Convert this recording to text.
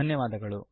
ಧನ್ಯವಾದಗಳು